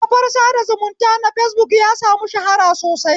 Kafar sada zumunta na fesbuk ya sami shahara sosai